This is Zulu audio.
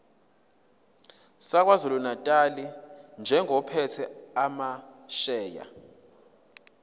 sakwazulunatali njengophethe amasheya